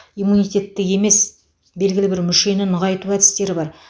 иммунитетті емес белгілі бір мүшені нығайту әдістері бар